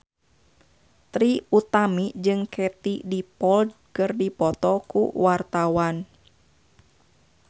Trie Utami jeung Katie Dippold keur dipoto ku wartawan